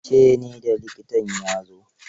Ce ne da likitan ya zo.